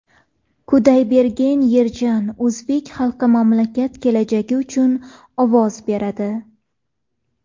Kudaybergen Yerjan: O‘zbek xalqi mamlakat kelajagi uchun ovoz beradi.